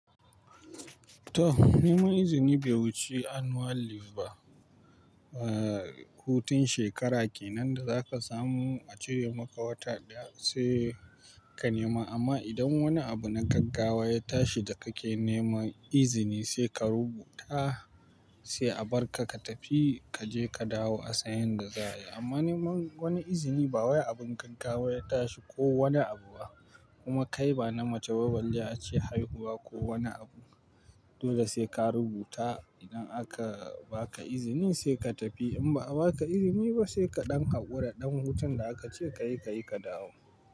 To, neman izini bai wuce an annual lif ba. Eh, hutun shekara kenan da za ka samu, a cire maka wata ɗaya sai ka nema. Amma idan wani abu na gaggawa ya tashi da kake neman izini, sai ka rubuta, sai a bar ka ka tafi, ka je ka dawo a san yadda za a yi. Amma neman wani izini ba wajen abin gaggawa ya tashi ko wani abu ba, kuma kai ba na mace balle ace haihuwa ko wani abu, dole sai ka rubuta. Idan aka ba ka izini sai ka tafi, in ba a ba ka izini ba sai ka ɗan haƙura, ɗan hutun da aka ce ka yi, ka yi ka dawo.